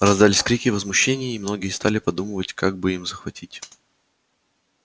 раздались крики возмущения и многие стали продумывать как бы им захватить